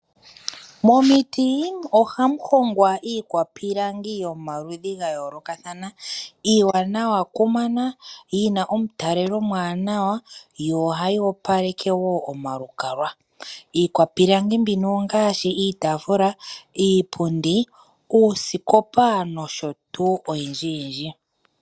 Momiti ohamu hongwa iikwapilangi yomaludhi ga yoolokathana. Iiwanawa ku mana yi na omutalelo omuwanawa yo ohayi opaleke wo omalukalwa. Iikwapilangi mbino ongaashi iitafula, iipundi, uusikopa nosho tuu oyindji yindji.